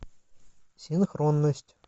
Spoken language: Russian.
синхронность